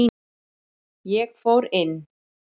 Ég fór inn.